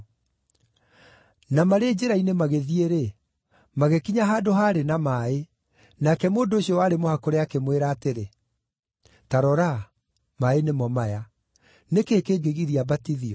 Na marĩ njĩra-inĩ magĩthiĩ-rĩ, magĩkinya handũ haarĩ na maaĩ, nake mũndũ ũcio warĩ mũhakũre akĩmwĩra atĩrĩ, “Ta rora, maaĩ nĩmo maya. Nĩ kĩĩ kĩngĩgiria mbatithio?”